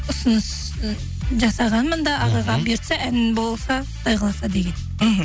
ұсыныс жасағанмын да ағайға бұйыртса ән болса құдай қаласа деген мхм